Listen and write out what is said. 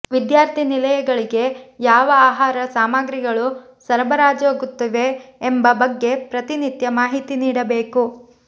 ವಿದ್ಯಾರ್ಥಿನಿಲಯಗಳಿಗೆ ಯಾವ ಆಹಾರ ಸಾಮಗ್ರಿಗಳು ಸರಬರಾಜಾಗುತ್ತಿವೆ ಎಂಬ ಬಗ್ಗೆ ಪ್ರತಿನಿತ್ಯ ಮಾಹಿತಿ ನೀಡಬೇಕು